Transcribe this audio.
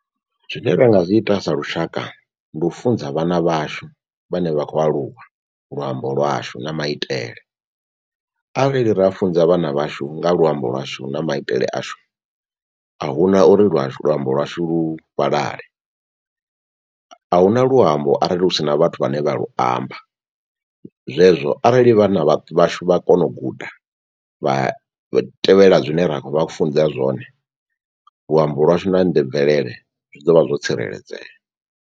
Zwine ra nga zwi ita sa lushaka ndi u funza vhana vhashu vhane vha khou aluwa luambo lwashu na maitele. Arali ra funza vhana vhashu nga luambo lwashu na maitele ashu ahuna uri lwashu lu luambo lwashu lu fhalale. Ahuna luambo arali hu si na vhathu vhane vha lu amba. Zwezwo arali vhana vhashu vha kona u guda vha tevhela zwine ra khou vha funza zwone luambo lwashu na mvelele zwi ḓo vha zwo tsireledzea.